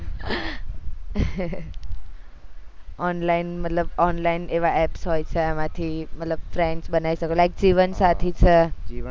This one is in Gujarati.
online મતલબ online એવા apps હોય છે એમાં થી મતલબ friends બનાઈ શકો like જીવન સાથી છે